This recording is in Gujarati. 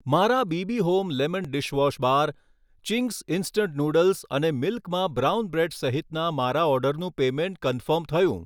મારા BB home lemon dishwash bar ,Ching's instant noodles અને મિલ્કમાં બ્રાઉન બ્રૅડ સહિતના મારા ઑર્ડરનું પેમૅન્ટ કન્ફર્મ થયું